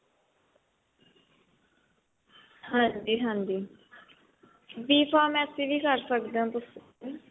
ਹਾਂਜੀ ਹਾਂਜੀ D pharmacy ਵੀ ਕਰ ਸਕਦੇ ਹੋ ਤੁਸੀਂ